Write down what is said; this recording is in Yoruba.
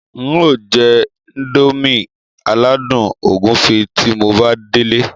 n o jẹ́ índómì aládùn ògúnfe tí mo bá délé